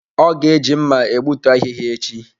O ga-eji mma egbutu ahihia echi.